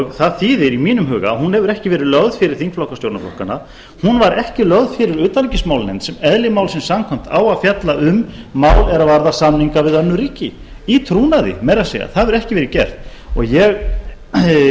það þýðir í mínum huga að hún hefur ekki verið lögð fyrir þingflokka stjórnarflokkanna hún var ekki lögð fyrir utanríkismálanefnd sem eðli málsins samkvæmt á að fjalla um mál er varða samninga við önnur ríki í trúnaði meira að segja það hefur ekki verið gert